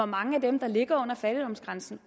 mange af dem der ligger under fattigdomsgrænsen